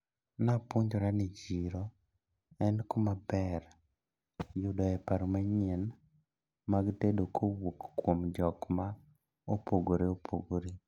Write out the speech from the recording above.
Napuonjra ni chiro en kumaber yudoe paro manyien mag tedo kowuok kuom jokma opogre opogre.